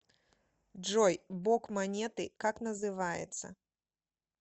джой бок монеты как называется